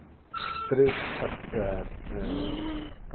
ca eh eh ca